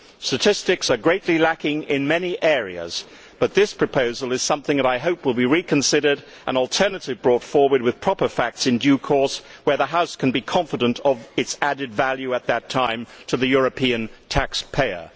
Statistics are greatly lacking in many areas, but this proposal is something that I hope will be reconsidered, with an alternative being brought forward with proper facts in due course where the House can be confident of its added value at that time to the European taxpayer.